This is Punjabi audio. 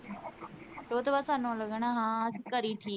ਓਦੋਂ ਸਾਨੂੰ ਲੱਗਣਾ ਹਾਂ ਅਸੀਂ ਘਰੇ ਈ ਠੀਕ ਆਂ।